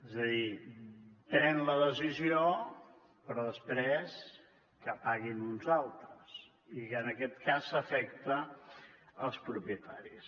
és a dir pren la decisió però després que paguin uns altres i que en aquest cas afecta els propietaris